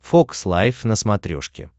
фокс лайф на смотрешке